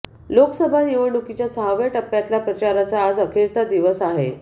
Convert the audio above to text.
लोकसभा निवडणुकीच्या सहाव्या टप्प्यातल्या प्रचाराचा आज अखेरचा दिवस आहे